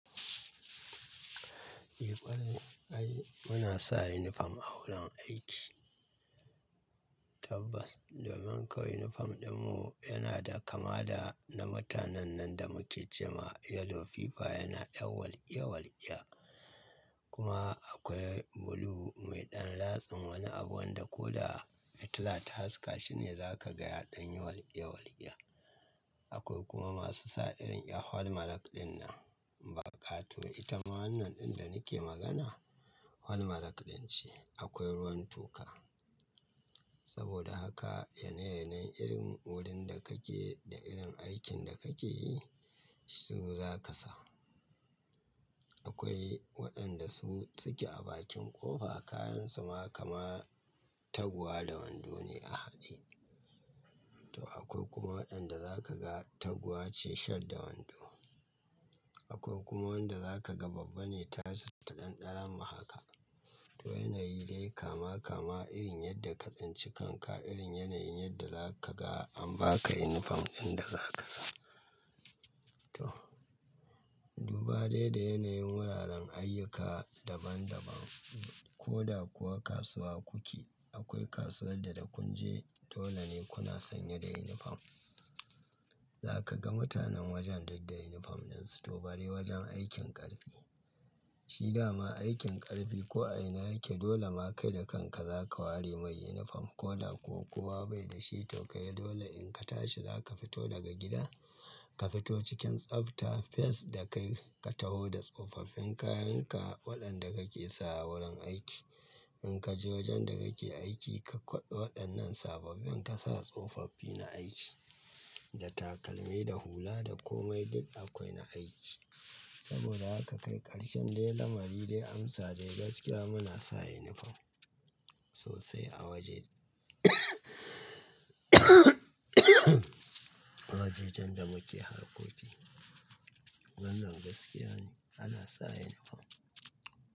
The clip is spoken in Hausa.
Eh ƙwarai ai muna sa uniform a wurin aiki. Tabbas domin kowa uniform ɗinmu yana da kama da na mutanen nan da muke ce ma yellow fiver yana ƴan walƙiya-walƙiya. Kuma akoi blue mai ɗan latsin woni abu wanda ko da a fitila ta haska shi ne za ka ga ya ɗan yi walƙiya-walƙiya. Akoi kuma masu sa irin 'yan falmalaƙ ɗin nan. Baƙa-tuwo ita ma wannan ɗin da nake magana falmalaƙ ɗin ce. Akwai ruwan toka. Saboda haka yanayin irin wurin da kake da irin aikin da kake yi, su za ka sa. Akwai wa'yanda su suke a bakin ƙofa, kayansu ma kama taguwa da wondo ne a haɗe. To akoi kuma wa'yanda za ka ga taguwa ce shirts da wando. Akwai kuma wanda za ka ga babban ne ta tas ɗan ɗaramu haka. To yanayi dai kama kama irin yadda ka tsinci kanka irin yanayi yadda za ka ga an ba ka uniform ɗin da za ka sa. To. Duba dai da yanayin wuraren ayyuka daban daban, ko da kuwa kasuwa kuke, akwai kasuwan da da kun je dole ne kuna sanye da uniform. Za ka ga mutanen wojen duk da uniform ɗin su. To bare wojen aikin ƙarfi. Shi dama aikin ƙarfi ko a ina yake dole ma kai da kanka za ka ware mai uniform ko da ko kuwa bai da shi to kai dole in ka tashi za ka fito daga gida, ka fito cikin tsafta fes da kai ka taho da tsofaf-fin kayan ka waɗanda kake sa a wurin aiki. In ka je wojen da kake aiki ka kwaɓe waɗannan sababbin ka sa tsofaf-fi na aiki, da takalmi da hula da komai duk akoi na aiki. Saboda haka kai ƙarshen dai lamari dai amsa dai gaskiya muna sa uniform sosai a woje. Wojejen da muke harkoki. Wannan gaskiya ne, ana sa uniform.